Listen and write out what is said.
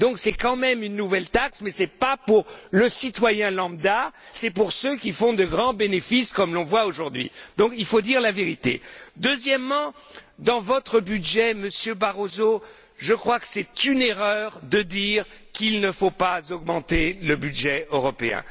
Voilà donc une nouvelle taxe qui ne touche pas le citoyen lambda, mais bien ceux qui font de grands bénéfices comme l'on voit aujourd'hui. Il faut dire la vérité. Deuxièmement, concernant votre budget, Monsieur Barroso, je crois que c'est une erreur de dire qu'il ne faut pas augmenter le budget européen.